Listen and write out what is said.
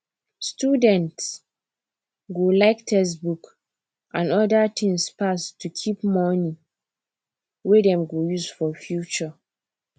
student go like textbook and other tins pass to keep money wey dem go use for future